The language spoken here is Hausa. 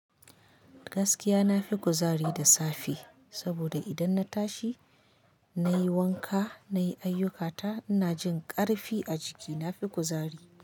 Gaskiya nafi kuzari da safe saboda idan na tashi na yi wanka, na yi ayyukata, ina jin ƙarfi a jiki, na fi kuzari.